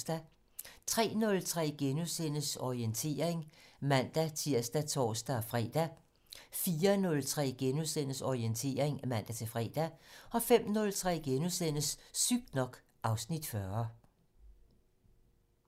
03:03: Orientering *(man-tir og tor-fre) 04:03: Orientering *(man-fre) 05:03: Sygt nok (Afs. 40)*